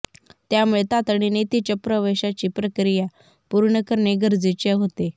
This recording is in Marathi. त्यामुळे तातडीने तिच्या प्रवेशाची प्रक्रिया पूर्ण करणे गरजेचे होते